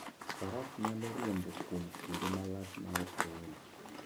Faras nyalo riembo kuom kinde malach maok ool.